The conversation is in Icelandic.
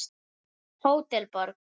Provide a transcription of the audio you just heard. Hótel Borg.